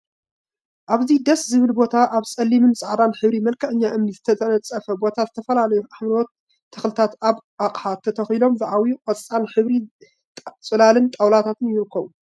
እሰይ ደስ ዝብል ቦታ! አብ ፀሊምን ፃዕዳን ሕብሪ መልክዐኛ እምኒ ዝተነፀፈ ቦታ ዝተፈላለዩ ሓምለዎት ተክሊታ አብ አቅሓ ተተኪሎም ዝዓበዩን ቆፃል ሕብሪ ፅላልን ጣውላታትን ይርከቡ፡፡